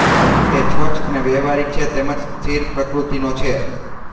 તે સ્વસ્થ અને વ્યાવહારિક છે તેમજ સ્થિર પ્રકૃતિનો છે